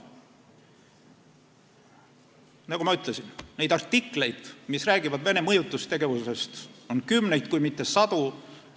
Nagu ma ütlesin, neid artikleid, mis räägivad Venemaa mõjutustegevusest, on kümneid, kui mitte sadu.